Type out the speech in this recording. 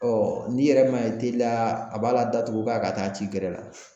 n'i yɛrɛ m'a ye teliyala a b'a la datugu k'a ka taa ci gɛrɛ la.